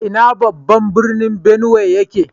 Ina babban birnin Benue yake?